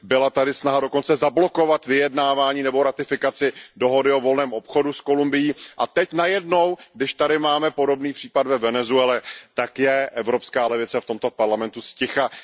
Byla tady snaha dokonce zablokovat vyjednávání nebo ratifikaci dohody o volném obchodu s Kolumbií a teď najednou, když tady máme podobný případ ve Venezuele, tak je evropská levice v tomto parlamentu zticha.